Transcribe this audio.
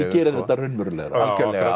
gerir þetta raunverulegra algjörlega